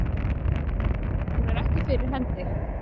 Hún er ekki fyrir hendi.